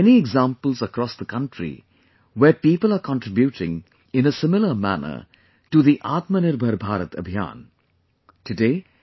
there are many examples across the country where people are contributing in a similar manner to the 'Atmanirbhar Bharat Abhiyan'